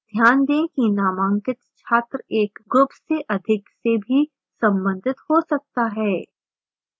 ध्यान दें कि: नामांकित छात्र एक group से अधिक से भी संबंधित हो सकता है